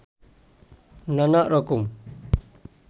নানা রকম